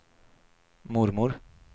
mormor